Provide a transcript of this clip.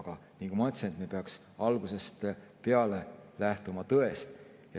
Aga nagu ma ütlesin, et me peaks algusest peale lähtuma tõest.